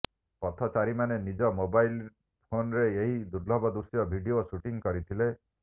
ପଥଚାରୀମାନେ ନିଜ ମୋବାଇଲ୍ ଫୋନରେ ଏହି ଦୁର୍ଲଭ ଦୃଶ୍ୟର ଭିଡିଓ ସୁଟିଂ କରିଥିଲେ